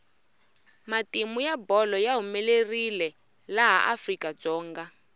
matimu ya bolo ya humelerile laha afrika dzonga